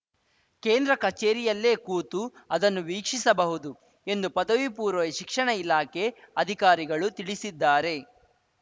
ಕೇಂದ್ರ ಕಚೇರಿಯಲ್ಲೇ ಕೂತು ಅದನ್ನು ವೀಕ್ಷಿಸಬಹುದು ಎಂದು ಪದವಿ ಪೂರ್ವ ಶಿಕ್ಷಣ ಇಲಾಖೆ ಅಧಿಕಾರಿಗಳು ತಿಳಿಸಿದ್ದಾರೆ